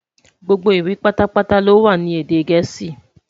Gbogbo ìwé pátá pátá lowa ní èdè gèésì